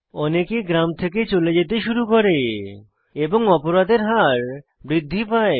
অনেকে গ্রাম থেকে চলে যেতে শুরু করে এবং অপরাধের হার বৃদ্ধি পায়